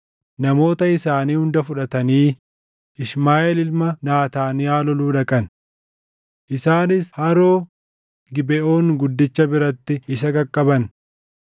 namoota isaanii hunda fudhatanii Ishmaaʼeel ilma Naataaniyaa loluu dhaqan. Isaanis haroo Gibeʼoon guddicha biratti isa qaqqaban.